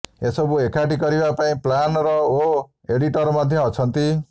ଏସବୁ ଏକାଠି କରିବା ପାଇଁ ପ୍ଲାନର ଓ ଏଡିଟର ମଧ୍ୟ ଅଛନ୍ତି